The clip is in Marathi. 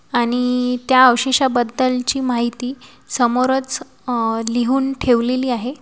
आणि त्या अवशेषा बद्दलची माहिती समोरच अह लिहून ठेवलेली आहे.